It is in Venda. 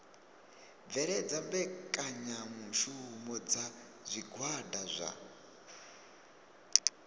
bveledza mbekanyamushumo dza zwigwada zwa